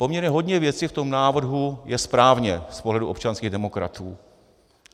Poměrně hodně věcí v tom návrhu je správně z pohledu občanských demokratů.